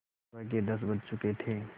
सुबह के दस बज चुके थे